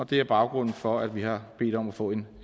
det er baggrunden for at vi har bedt om at få en